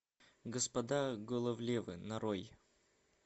господа головлевы нарой